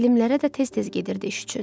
Elmlərə də tez-tez gedirdi iş üçün.